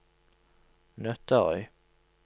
Nøtterøy